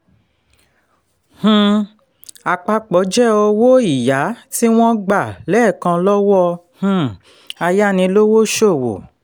um àpapò jẹ́ owó ìyá tí wọ́n gbà lẹ́ẹ̀kan lọ́wọ́ um ayánilówósòwò.